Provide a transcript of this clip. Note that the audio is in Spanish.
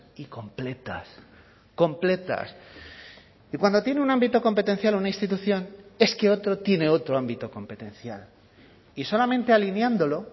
y completas completas y cuando tiene un ámbito competencial una institución es que otro tiene otro ámbito competencial y solamente alineándolo